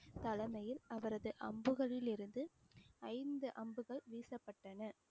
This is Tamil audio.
தலைமையில் அவரது அம்புகளிலிருந்து ஐந்து அம்புகள் வீசப்பட்டன